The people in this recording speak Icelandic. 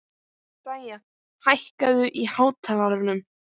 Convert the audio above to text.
Dæja, hækkaðu í hátalaranum.